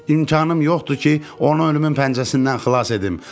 İmkanım yoxdur ki, onu ölümün pəncəsindən xilas edim.